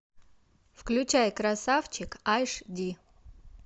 включай красавчик аш ди